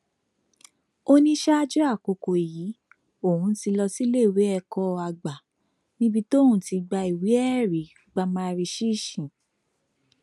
ó ní ṣáájú àkókò yìí òun ti lọ síléèwé ẹkọ àgbà níbi tóun ti gba ìwéẹrí pa mari ṣíṣí